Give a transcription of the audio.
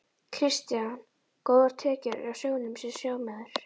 Kristján: Góðar tekjur á sjónum sem sjómaður?